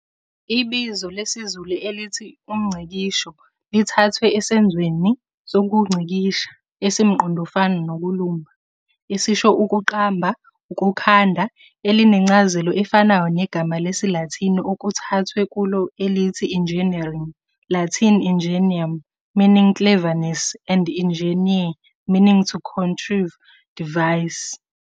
Ibizo lesiZulu elithi 'umNgcikisho' lithathwe esenzweni sokungcikisha, esimqondofana 'nokulumba', esisho 'ukuqamba, ukukhanda', elinencazelo efanayo negama lesilathini okuthathwe kulo elithi "enginneering, Latin 'ingenium', meaning "cleverness" and ingeniare, meaning "to contrive, devise."